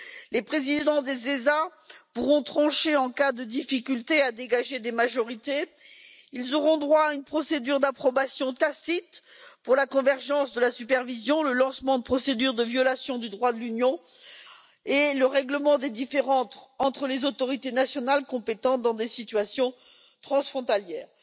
Les présidents des autorités européennes de supervision pourront trancher en cas de difficulté à dégager des majorités et auront droit à une procédure d'approbation tacite pour la convergence de la supervision, le lancement de procédures en cas de violation du droit de l'Union et le règlement des différends entre les autorités nationales compétentes dans des situations transfrontalières.